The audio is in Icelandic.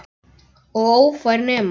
Og ófær nema.